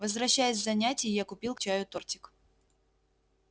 возвращаясь с занятий я купил к чаю тортик